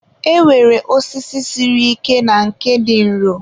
e nwere osisi siri ike na nke dị nro.